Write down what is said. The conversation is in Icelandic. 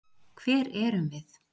HVER ERUM VIÐ?